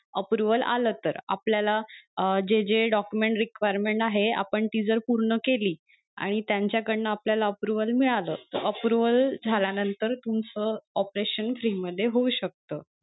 Approval आलं तर आपल्याला अं जे जे document requirement आहे आपण जर ती पूर्ण केली आणि त्यांच्या कडन आपल्याला approval मिळाल तर approval झाल्या नंतर तुमचं operation free मध्ये होऊ शकत.